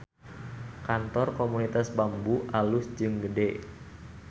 Kantor Komunitas Bambu alus jeung gede